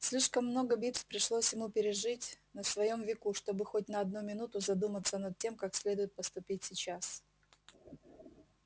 слишком много битв пришлось ему пережить на своём веку чтобы хоть на одну минуту задуматься над тем как следует поступить сейчас